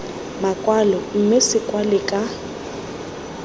makwalo mme se kwalwe ka